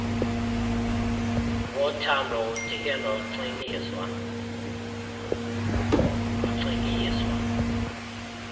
wothando udike nocikiizwa